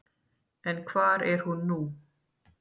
En hvar er hún nú?